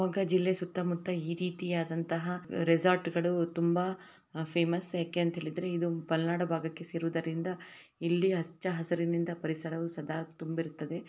ಜಿಲ್ಲೆ ಸುತ್ತಮುತ್ತ ಈ ರೀತಿಯಾದಂತಹ ರಿಸ್ಟಾರ್ಟ್ ಗಳು ತುಂಬಾ ಫೇಮಸ್ ಯಾಕ್ ಅಂತ ಹೇಳಿದರೆ ಇದು ಮಲ್ನಾಡ್ ಭಾಗಕ್ಕೆ ಸೇರುವುದರಿಂದ ಇಲ್ಲಿ ಹಚ್ಚ ಹಸರಿನಿಂದ ಪರಿಸರವು ಸದಾ ತುಂಬಿರುತ್ತದೆ.